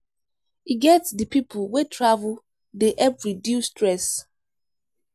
E get di pipo wey travel dey help reduce stress.